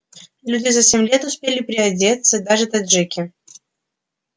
люди за семь лет успели приодеться даже таджики